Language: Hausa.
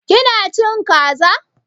Ƙina cin Ƙaza?